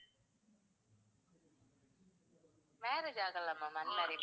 marriage ஆகல ma'am unmarried ma'am.